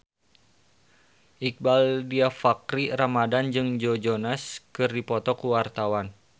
Iqbaal Dhiafakhri Ramadhan jeung Joe Jonas keur dipoto ku wartawan